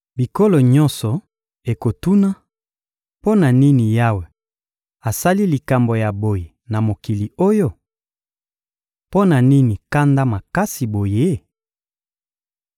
Bikolo nyonso ekotuna: ‹Mpo na nini Yawe asali likambo ya boye na mokili oyo? Mpo na nini kanda makasi boye?›